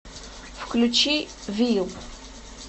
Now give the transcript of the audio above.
включи вил